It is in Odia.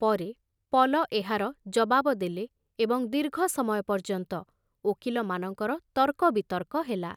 ପରେ ପଲ ଏହାର ଜବାବ ଦେଲେ ଏବଂ ଦୀର୍ଘ ସମୟ ପର୍ଯ୍ୟନ୍ତ ଓକିଲମାନଙ୍କର ତର୍କବିତର୍କ ହେଲା।